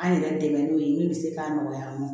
An yɛrɛ dɛmɛ n'o ye min bɛ se k'a nɔgɔya an ma